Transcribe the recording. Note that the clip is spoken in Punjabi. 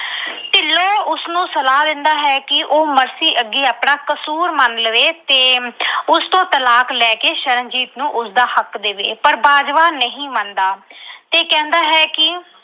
ਤੇ ਉਸਨੂੰ ਸਲਾਹ ਦਿੰਦਾ ਹੈ ਕਿ ਉਹ ਮਰਸੀ ਅੱਗੇ ਆਪਣਾ ਕਸੂਰ ਮੰਨ ਲਵੇ ਤੇ ਉਸ ਤੋਂ ਤਲਾਕ ਲੈ ਕੇ ਸ਼ਰਨਜੀਤ ਨੂੰ ਉਸਦਾ ਹੱਕ ਦੇਵੇ ਪਰ ਬਾਜਵਾ ਨਹੀਂ ਮੰਨਦਾ ਤੇ ਕਹਿੰਦਾ ਹੈ ਕਿ